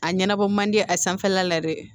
A ɲɛnabɔ man di a sanfɛla la dɛ